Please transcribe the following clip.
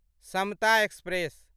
Samta express